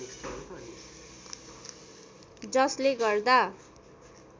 जसले गर्दा